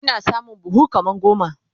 Ina samun buhu kaman goma